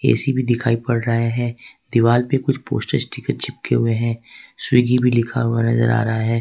AC भी दिखाई पड़ रहे हैं दीवार पे कुछ पोस्टर स्टिकर चिपके हुए हैं स्विगी भी लिखा हुआ नजर आ रहा है।